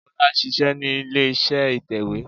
Bólá ṣíṣẹ ní ilé iṣẹ́ ìtẹ̀wé